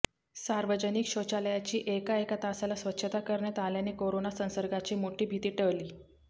सार्वजनिक शौचालयाची एका एका तासाला स्वच्छता करण्यात आल्याने कोरोना संसर्गाची मोठी भिती टळली